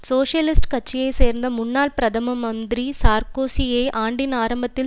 socialist கட்சியை சேர்ந்த முன்னாள் பிரதம மந்திரி சார்க்கோசியை ஆண்டின் ஆரம்பத்தில்